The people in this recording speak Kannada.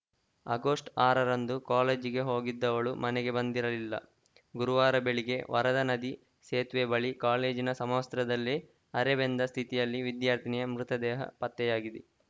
ಆಗಸ್ಟ್ ಆರರಂದು ಕಾಲೇಜಿಗೆ ಹೋಗಿದ್ದವಳು ಮನೆಗೆ ಬಂದಿರಲಿಲ್ಲ ಗುರುವಾರ ಬೆಳಿಗ್ಗೆ ವರದಾ ನದಿ ಸೇತುವೆ ಬಳಿ ಕಾಲೇಜಿನ ಸಮವಸ್ತ್ರದಲ್ಲಿ ಅರೆಬೆಂದ ಸ್ಥಿತಿಯಲ್ಲಿ ವಿದ್ಯಾರ್ಥಿನಿಯ ಮೃತದೇಹ ಪತ್ತೆಯಾಗಿದೆ